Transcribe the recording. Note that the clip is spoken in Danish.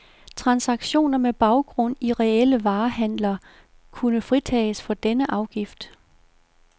Transaktioner med baggrund i reelle varehandler kunne fritages for denne afgift.